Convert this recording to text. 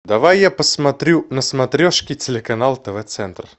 давай я посмотрю на смотрешке телеканал тв центр